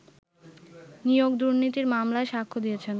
নিয়োগ দুর্নীতির মামলায় সাক্ষ্য দিয়েছেন